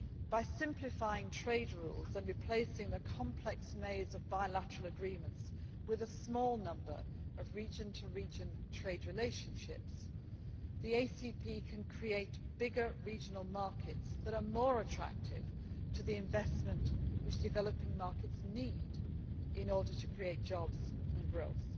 By simplifying trade rules and replacing the complex maze of bilateral agreements with a small number of region to region trade relationships, the ACP can create bigger regional markets that are more attractive to the investment which developing markets need in order to create jobs and growth.